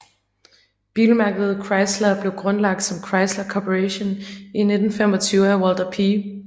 Bilmærket Chrysler blev grundlagt som Chrysler Corporation i 1925 af Walter P